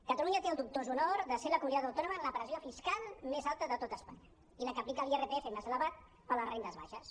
catalunya té el dubtós honor de ser la comunitat autònoma amb la pressió fiscal més alta de tot espanya i la que aplica l’irpf més elevat per a les rendes baixes